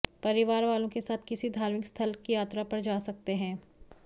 परिवार वालों के साथ किसी धार्मिक स्थल की यात्रा पर जा सकते हैं